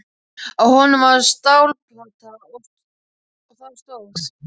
Á honum var stálplata og þar stóð: